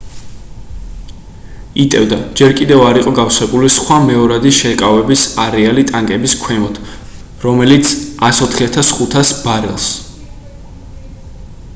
იტევდა ჯერ კიდევ არ იყო გავსებული სხვა მეორადი შეკავების არეალი ტანკების ქვემოთ რომელიც 104,500 ბარელს